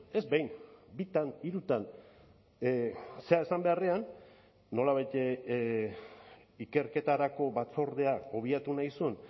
ez behin bitan hirutan zera esan beharrean nolabait ikerketarako batzordea obiatu nahi zuen